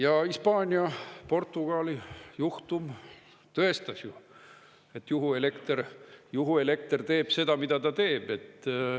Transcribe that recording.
Ja Hispaania-Portugali juhtum tõestas ju, et juhuelekter teeb seda, mida ta teeb.